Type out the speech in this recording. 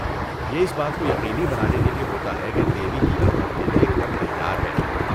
یہ اس بات کو یقینی بنانے کے لیے ہوتا ہے کہ دیوی کی آمد کے لیے گھر تیار ہے۔